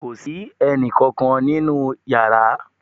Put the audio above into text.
Kò sí ẹnì kankan nínú yàrá